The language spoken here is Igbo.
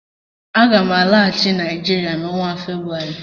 Aga m alaghachi Naijiria n' onwa Febrụwarị